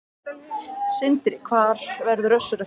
Sindri: Hvar verður Össur eftir fimm ár?